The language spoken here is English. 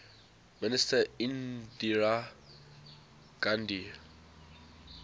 minister indira gandhi